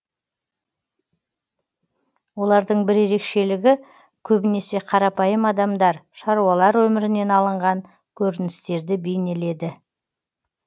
олардың бір ерекшелігі көбінесе қарапайым адамдар шаруалар өмірінен алынған көріністерді бейнеледі